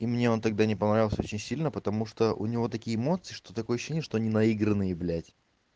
и мне он тогда не понравился очень сильно потому что у него такие эмоции что такое ощущение что они наигранные б